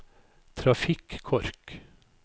trafikkork